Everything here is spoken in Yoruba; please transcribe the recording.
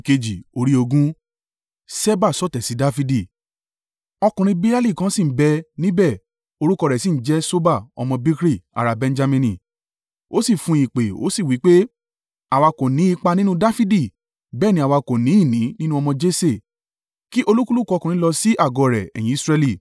Ọkùnrin Beliali kan sì ń bẹ níbẹ̀ orúkọ rẹ̀ sì ń jẹ́ Ṣeba ọmọ Bikri ará Benjamini; ó sì fún ìpè ó sì wí pé, “Àwa kò ní ipa nínú Dafidi, bẹ́ẹ̀ ni àwa kò ni ìní nínú ọmọ Jese! Kí olúkúlùkù ọkùnrin lọ sí àgọ́ rẹ̀, ẹ̀yin Israẹli!”